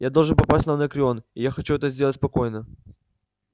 я должен попасть на анакреон и я хочу это сделать спокойно